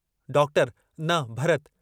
Doctor... न भरत्!